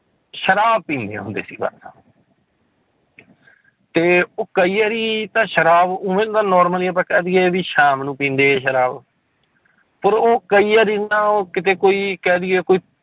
ਸ਼ਰਾਬ ਪੀਂਦੇ ਹੁੰਦੇ ਸੀ ਬਸ ਤੇ ਉਹ ਕਈ ਵਾਰੀ ਤਾਂ ਸ਼ਰਾਬ normally ਆਪਾਂ ਕਹਿ ਦੇਈਏ ਵੀ ਸ਼ਾਮ ਨੂੰ ਪੀਂਦੇ ਸੀ ਸ਼ਰਾਬ ਪਰ ਉਹ ਕਈ ਵਾਰੀ ਨਾ ਉਹ ਕਿਤੇ ਕੋਈ ਕਹਿ ਦੇਈਏ ਕੋਈ